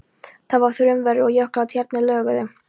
Það var þrumuveður og jöklar og tjarnir loguðu.